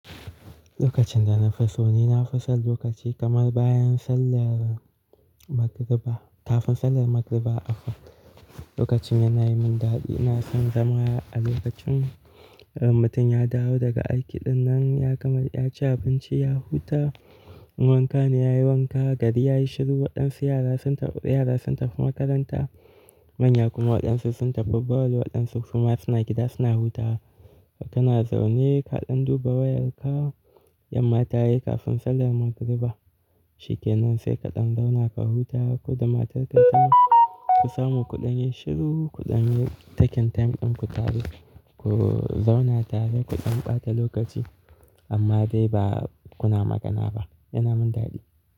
Lokacin da na fi so ni nafi son lokaci kamar bayan sallar Magribah kafin sallar Magribah a fak. Lokacin yana yi min dadi. Ina son zama a lokacin mutum ya dawo daga aiki dinnan ya gama yaci abinci ya huta. Wankan ne yayi wanka gari yayi shiru waɗansu yara sun taru yara sun tafi makaranta manya kuma waɗansu sun tafi ball waɗansu kuma suna gida suna hutawa. Kana zaune kaɗan duba wayarka, yamma tayi kafin sallar Magribah shikenan sai kaɗan zauna ka huta ku da matarka tam ku samu kuɗanyi shiru kuɗanyi taking time ɗin ku tare. Ku zauna tare kuɗan ɓata lokaci amma dai ba kuna magana ba, yana min daɗi.